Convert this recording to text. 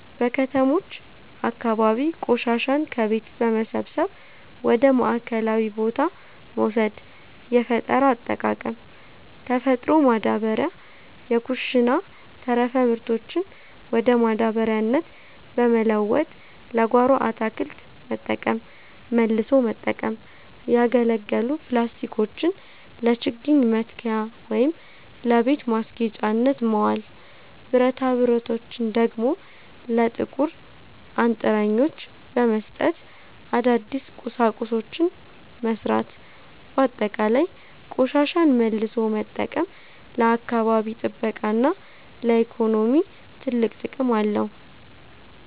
በከተሞች አካባቢ ቆሻሻን ከቤት በመሰብሰብ ወደ ማዕከላዊ ቦታ መውሰድ። የፈጠራ አጠቃቀም፦ ተፈጥሮ ማዳበሪያ፦ የኩሽና ተረፈ ምርቶችን ወደ ማዳበሪያነት በመለወጥ ለጓሮ አትክልት መጠቀም። መልሶ መጠቀም፦ ያገለገሉ ፕላስቲኮችን ለችግኝ መትከያ ወይም ለቤት ማስጌጫነት ማዋል፤ ብረታብረቶችን ደግሞ ለጥቁር አንጥረኞች በመስጠት አዳዲስ ቁሳቁሶችን መሥራት። ባጠቃላይ፣ ቆሻሻን መልሶ መጠቀም ለአካባቢ ጥበቃና ለኢኮኖሚ ትልቅ ጥቅም አለው።